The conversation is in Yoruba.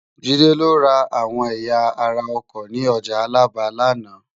Jide lò rá áwòn èyá àrá òkò ni òjá Alaba làná